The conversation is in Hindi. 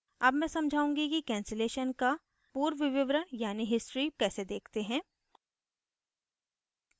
अब मैं समझाउंगी कि cancellation का पूर्व विवरण यानी history कैसे देखते हैं